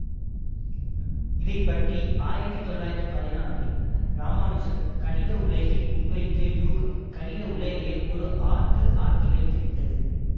இதை பற்றி ஆயிரத்தி தொள்ளாயிரத்தி பதினாறில் இராமானுசன் கணித உலகின் முன்வைத்த யூகம் கணித உலகையே ஒரு ஆட்டு ஆட்டிவைத்துவிட்டது